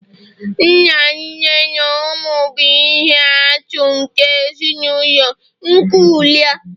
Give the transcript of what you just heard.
nna, nne na ụmụ bụ ihe atụ nke ezinụlọ nuklia